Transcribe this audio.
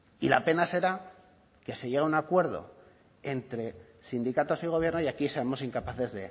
y la pena será que se llegue a un acuerdo entre sindicatos y gobierno y aquí seamos incapaces